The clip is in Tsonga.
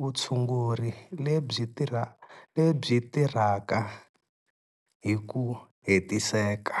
vutshunguri lebyi tirhaka hi ku hetiseka.